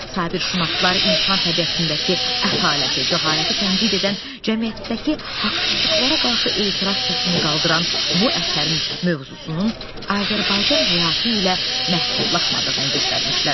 Sabirşünaslar insan təbiətindəki ətaləti, cəhaləti tənqid edən, cəmiyyətdəki haqsızlıqlara qarşı etiraz səsini qaldıran bu əsərin mövzusunun Azərbaycan həyatı ilə məhdudlaşmadığını göstərmişlər.